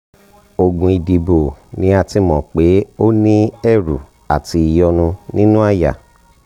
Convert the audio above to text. oògùn ìdìbò ni a ti mọ̀ pé o ní ẹ̀rù àti ìyọ́nú nínú àyà